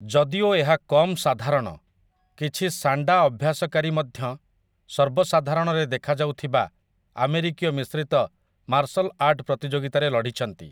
ଯଦିଓ ଏହା କମ୍ ସାଧାରଣ, କିଛି ସାଣ୍ଡା ଅଭ୍ୟାସକାରୀ ମଧ୍ୟ ସର୍ବସାଧାରଣରେ ଦେଖାଯାଉଥିବା ଆମେରିକୀୟ ମିଶ୍ରିତ ମାର୍ଶଲ୍ ଆର୍ଟ ପ୍ରତିଯୋଗିତାରେ ଲଢିଛନ୍ତି ।